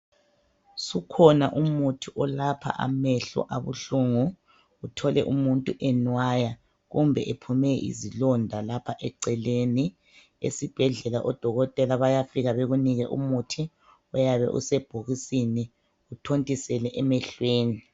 Sukhona umuthi olapha amehlo abuhlungu uthole umuntu enwaya kumbe ephume izilonda lapha eceleni esibhedlela odokotela bayafika bekunike umuthi oyabe usebhokisini uthontisele emehlweni.